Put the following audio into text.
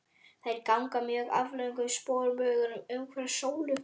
Þær ganga á mjög aflöngum sporbaugum umhverfis sólu.